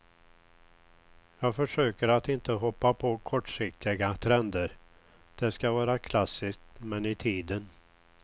Jag försöker att inte hoppa på kortsiktiga trender, det ska vara klassiskt men i tiden.